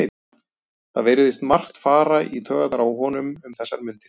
Það virðist margt fara í taugarnar á honum um þessar mundir.